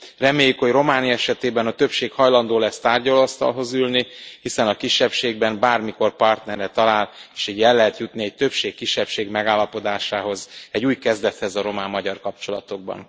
Reméljük, hogy Románia esetében a többség hajlandó lesz tárgyalóasztalhoz ülni, hiszen a kisebbségben bármikor partnerre talál, és így el lehet jutni egy többség kisebbség megállapodáshoz, egy új kezdethez a román magyar kapcsolatokban.